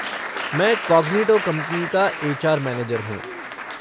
मैं Cognito company का HR. Manager हूँ।